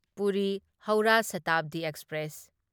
Puri Howrah Shatabdi express